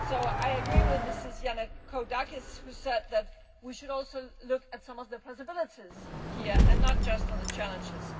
I agree with Ms Yannakoudakis, who said that we should also look at some of the possibilities here and not just at the challenges.